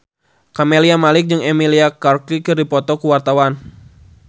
Camelia Malik jeung Emilia Clarke keur dipoto ku wartawan